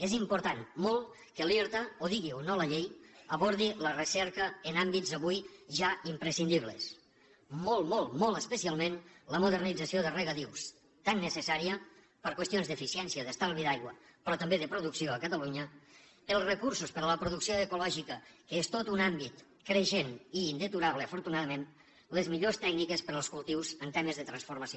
és important molt que l’irta ho digui o no la llei abordi la recerca en àmbits avui ja imprescindibles molt molt especialment la modernització de regadius tan necessària per qüestions d’eficiència i d’estalvi d’aigua però també de producció a catalunya els recursos per a la producció ecològica que és tot un àmbit creixent i indeturable afortunadament les millors tècniques per als cultius en temes de transformació